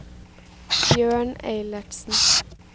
Bjørn Eilertsen